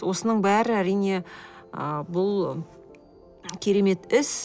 осының бәрі әрине ы бұл керемет іс